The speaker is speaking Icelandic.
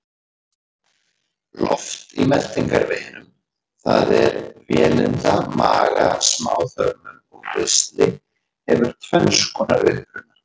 Loft í meltingarveginum, það er vélinda, maga, smáþörmum og ristli, hefur tvenns konar uppruna.